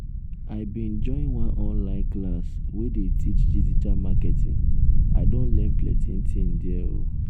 i bin join one online class wey dey teach digital marketing i don learn plenty tin there o.